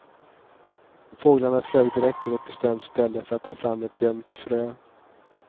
Fåglarna flög direkt till ett bestämt ställe för att ta fram ett gömt frö.